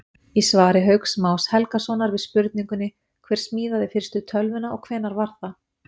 Í svari Hauks Más Helgasonar við spurningunni Hver smíðaði fyrstu tölvuna og hvenær var það?